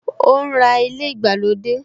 O ń ra ilé ìgbàlódé